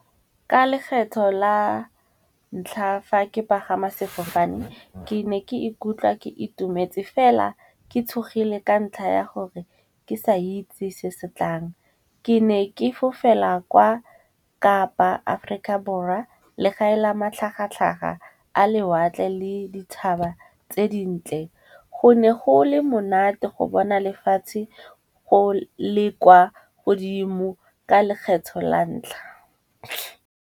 Ka lekgetlho la ntlha fa ke pagama sefofane ke ne ke ikutlwa ke itumetse fela ke tshogile ka ntlha ya gore ke sa itse se setlang. Ke ne ke fofela kwa kapa aforika borwa le ga ela matlhagatlhaga a lewatle le dithaba tse dintle. Go ne go le monate go bona lefatshe go le kwa godimo ka lekgetho la ntlha.